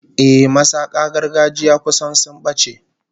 Ehh, masaka gargajiya kusan sun bace